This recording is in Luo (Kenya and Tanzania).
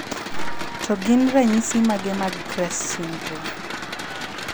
To gin ranyisi mage mag CREST syndrome?